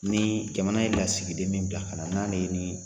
Ni jamana ye lasigiden min bila ka na n'ale ni